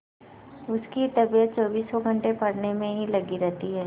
उसकी तबीयत चौबीसों घंटे पढ़ने में ही लगी रहती है